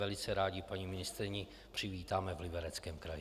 Velice rádi paní ministryni přivítáme v Libereckém kraji.